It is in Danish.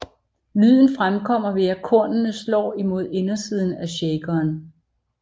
Lyden fremkommer ved at kornene slår imod indersiden af shakeren